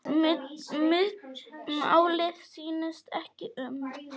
Málið snýst ekki um það.